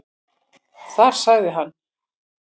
Þar sagði hann.